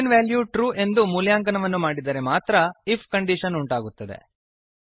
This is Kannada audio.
ಬೂಲಿಯನ್ ವೆಲ್ಯೂ ಟ್ರೂ ಎಂದು ಮೂಲ್ಯಾಂಕನವನ್ನು ಮಾಡಿದರೆ ಮಾತ್ರ ಐಎಫ್ ಕಂಡೀಶನ್ ಉಂಟಾಗುತ್ತದೆ